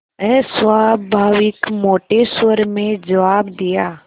अस्वाभाविक मोटे स्वर में जवाब दिया